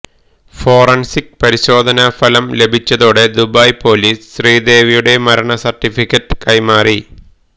forensic പരിശോധനഫലം ലഭിച്ചതോടെ Dubai police ശ്രീദേവിയുടെ മരണസര്ട്ടിഫിക്കറ്റ് കൈമാറി